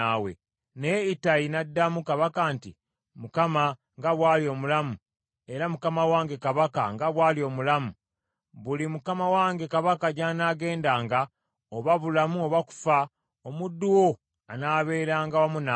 Naye Ittayi n’addamu kabaka nti, “ Mukama nga bw’ali omulamu, era mukama wange kabaka nga bw’ali omulamu, buli mukama wange kabaka gy’anaagendanga, oba bulamu oba kufa, omuddu wo anaabeeranga wamu naawe.”